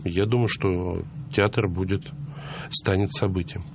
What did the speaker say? я думаю что театр будет станет событием